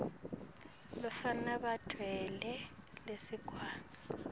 bafana batfwele lisekwane